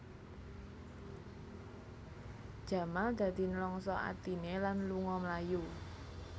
Jamal dadi nlangsa atiné lan lunga mlayu